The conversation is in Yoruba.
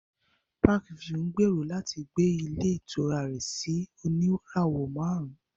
Parkview ń gbèrò láti gbé ilé ìtura rẹ̀ sí oníràwọ̀ márùn-ún